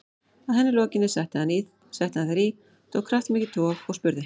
Að henni lokinni setti hann þær í, tók kraftmikið tog og spurði